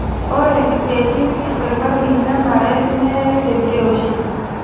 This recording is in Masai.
Ore isiaitin esirkali nenare neyai tenkiroshii